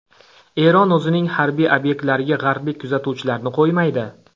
Eron o‘zining harbiy obyektlariga g‘arblik kuzatuvchilarni qo‘ymaydi.